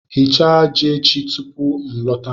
Ghichaa ji echi tupu m alọta